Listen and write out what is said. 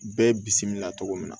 Bɛɛ bisimila cogo min na